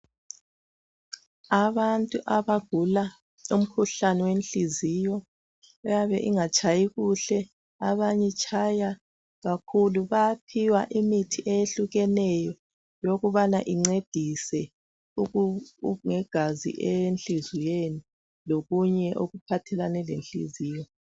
Abantu abagula umkhuhlane wenhliziyo eyabe ingatshayi kuhle, abanye itshaya kakhulu, bayaphiwa imithi eyehlukeneyo yokubana incedise ngegazi enhliziyweni, lokunye okuphathelane lenhliziyo